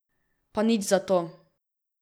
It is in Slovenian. Pa nič za to.